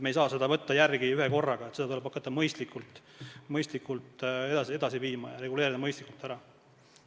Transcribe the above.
Me ei saa võtta järele ühe korraga, seda tuleb hakata mõistlikult edasi viima ja see mõistlikult ära reguleerida.